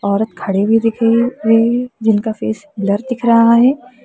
औरत खड़े हुए दिख रही रई है जिनका फेस ब्लर दिख रहा है।